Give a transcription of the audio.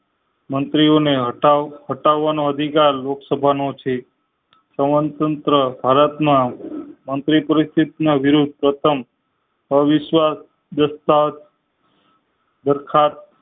મંત્રી ઓને હટાવ હટાવ નો અધિકાર લોક સભા નો છે સ્વતંત્ર ભારત માં મંત્રી પરિસ્થિતિ ના વિરુદ્ધ પ્રથમ અવિશ્વાસ અર્થાત ડાખત